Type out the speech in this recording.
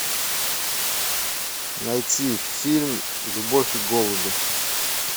найти фильм любовь и голуби